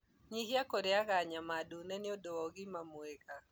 Nyihia kũrĩaga nyama ndune nĩũndũ wa ũgima mwega